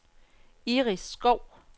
Iris Skou